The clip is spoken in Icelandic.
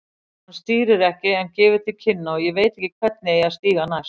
Hann stýrir ekki en gefur til kynna, ég veit ekki hvernig, eigi að stíga næst.